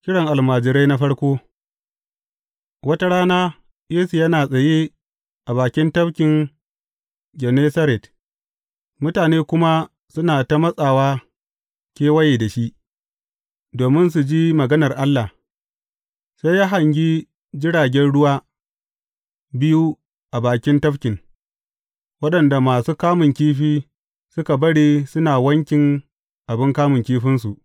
Kiran almajirai na farko Wata rana, Yesu yana tsaye a bakin Tafkin Gennesaret, mutane kuma suna ta matsawa kewaye da shi, domin su ji maganar Allah, sai ya hangi jiragen ruwa biyu a bakin tafkin, waɗanda masu kamun kifi suka bari suna wankin abin kamun kifinsu.